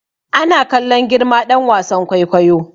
Ana kallon girma ɗan wasan kwaikwayo